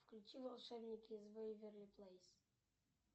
включи волшебники из вэйверли плейс